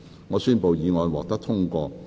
我宣布議案獲得通過。